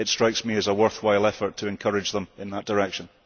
It strikes me as a worthwhile effort to encourage them in that direction.